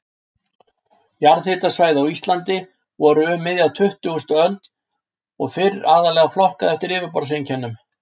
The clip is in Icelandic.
Jarðhitasvæði á Íslandi voru um miðja tuttugustu öld og fyrr aðallega flokkuð eftir yfirborðseinkennum.